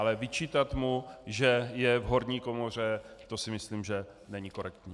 Ale vyčítat mu, že je v horní komoře, to si myslím, že není korektní.